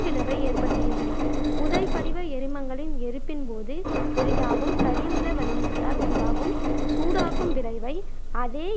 விளைவை ஏற்படுத்துகின்றன. புதைபடிவ எரிமங்களின் எரிப்பின் போது வெளியாகும் கரியமில வளிமத்தால் உண்டாகும் சூடாக்கும் விளைவை அதே